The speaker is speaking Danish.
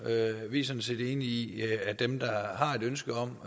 vi er sådan set enige i at dem der har et ønske om